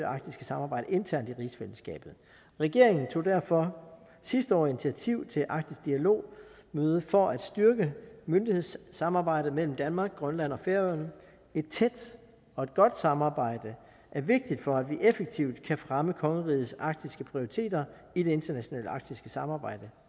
arktiske samarbejde internt i rigsfællesskabet regeringen tog derfor sidste år initiativ til et arktisk dialog møde for at styrke myndighedssamarbejdet mellem danmark grønland og færøerne et tæt og et godt samarbejde er vigtigt for at vi effektivt kan fremme kongerigets arktiske prioriteter i det internationale arktiske samarbejde